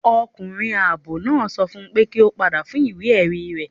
Ọkunrin aabọ naa sọ fún pe ki o pada fun iwe-ẹri rẹ